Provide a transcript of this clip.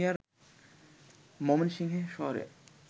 ময়মনসিংহে শহরের